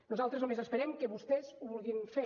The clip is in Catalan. nosaltres només esperem que vostès ho vulguin fer